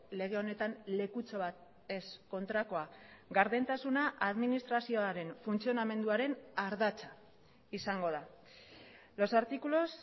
lege honetan lekutxo bat ez kontrakoa gardentasuna administrazioaren funtzionamenduaren ardatza izango da los artículos